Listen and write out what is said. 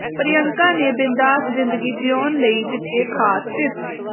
ਪ੍ਰਿਅੰਕਾ ਨੇ ਬਿੰਦਾਸ ਜ਼ਿੰਦਗੀ ਜਿਊਣ ਲਈ ਦਿੱਤੇ ਖਾਸ ਟਿਪਸ